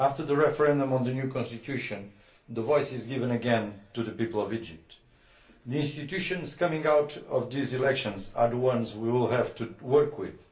After the referendum on the new constitution, the voice is being given again to the people of Egypt. The institutions coming out of these elections are the ones we will have to work with.